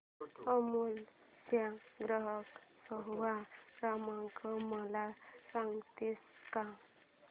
अमूल चा ग्राहक सेवा क्रमांक मला सांगतेस का